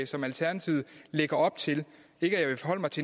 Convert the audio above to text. som alternativet lægger op til